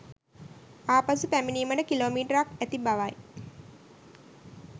ආපසු පැමිණීමට කිලෝමීටර්ක් ඇති බවයි